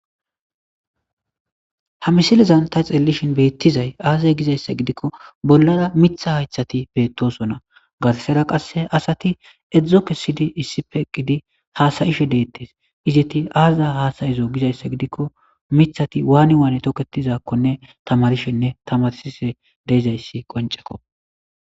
Ha misilezan ta xeelishin beetizay aaze gizaysa gidiko bolara miitha haythati beetosona garsara qase asati ezho kesidi eqidi hasayishe izeti azi azi hasayizo gizaysagiidoko mithati waani toketizo gizaysa tamarishenne tamarsishe dizaysi qonceko.